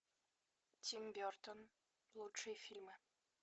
тим бертон лучшие фильмы